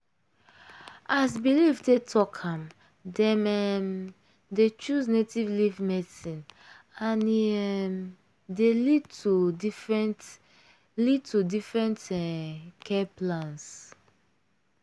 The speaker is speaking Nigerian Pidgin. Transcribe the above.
as belief take talk am dem um dey choose native leaf medicine and e um dey lead to different lead to different um care plans.